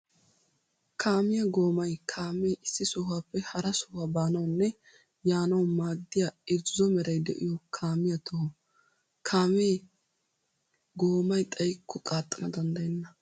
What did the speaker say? Kaamiya goommay kaame issi sohuwappe hara sohuwa baanawunne yaanawu maadiya irxxo meray de'iyo kaamiya toho. Kaame goommay xayikko qaaxxana danddayenna.